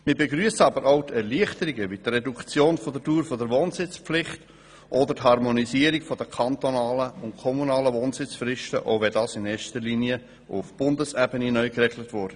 Wir begrüssen aber auch die Erleichterungen wie die Reduktion der Dauer der Wohnsitzpflicht oder die Harmonisierung der kantonalen und kommunalen Wohnsitzfristen, auch wenn das in erster Linie auf Bundesebene neu geregelt wurde.